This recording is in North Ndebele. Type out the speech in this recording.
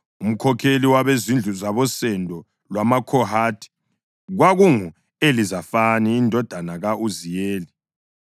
Umkhokheli wabezindlu zabosendo lwamaKhohathi kwakungu-Elizafani indodana ka-Uziyeli.